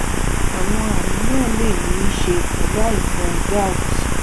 àwọn àmì náà lè ní í ṣe pẹ̀lú àìsàn gout